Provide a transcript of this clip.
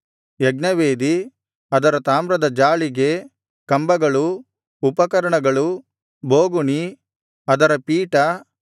ಯಜ್ಞವೇದಿ ಅದರ ತಾಮ್ರದ ಜಾಳಿಗೆ ಕಂಬಗಳು ಉಪಕರಣಗಳು ಬೋಗುಣಿ ಅದರ ಪೀಠ